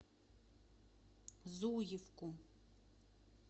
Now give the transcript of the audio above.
зуевку